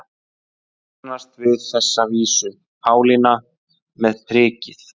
Flestir kannast við þessa vísu: Pálína með prikið